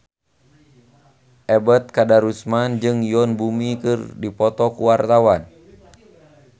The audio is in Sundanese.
Ebet Kadarusman jeung Yoon Bomi keur dipoto ku wartawan